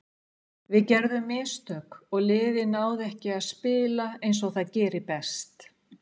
Við gerðum mistök og liðið náði ekki að spila eins og það gerir best.